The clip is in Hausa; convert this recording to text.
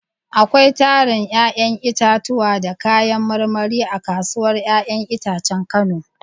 Akwai tarin 'ya'yan itatuwa da kayan marmari a kasuwar 'ya'yan itacen Kano.